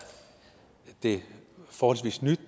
det forholdsvis nyt